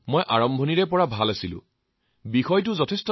তেওঁ আপোনাক চাগে গালিও পাৰে